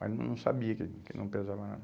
Mas não sabia que que não pesava nada.